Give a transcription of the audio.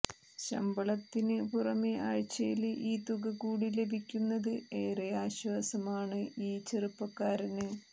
ശമ്പളത്തിന് പുറമേ ആഴ്ചയില് ഈ തുക കൂടി ലഭിക്കുന്നത് ഏറെ ആശ്വാസമാണ് ഈ ചെറുപ്പക്കാരന്